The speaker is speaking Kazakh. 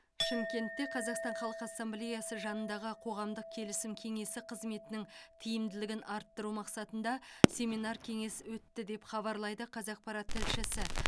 шымкентте қазақстан халқы ассамблеясы жанындағы қоғамдық келісім кеңесі қызметінің тиімділігін арттыру мақсатында семинар кеңес өтті деп хабарлайды қазақпарат тілшісі